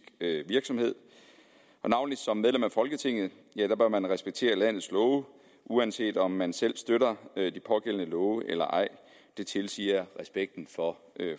virksomhed og navnlig som medlem af folketinget bør man respektere landets love uanset om man selv støtter de pågældende love eller ej det tilsiger respekten for